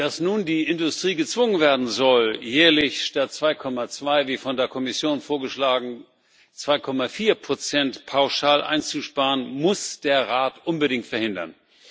Dass nun die Industrie gezwungen werden soll, jährlich statt 2,2 wie von der Kommission vorgeschlagen 2,4 pauschal einzusparen, muss der Rat unbedingt verhindern.